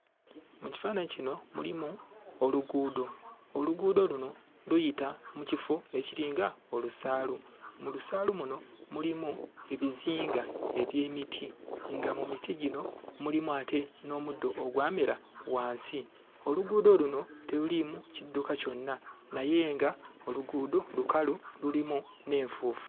Mu kifaananyi kino mulimu oluguudo. Oluguudo luno luyita mu kifo ekiringa olusaalu. Mu lusaalu luno mulimu ebizinga eby'emiti, nga mu miti gino mulimu ate n'omuddo ogwamera wansi. Oluguudo luno teruliimu kidduka kyonna naye nga oluguudo lukalu, lulimu n'enfuufu.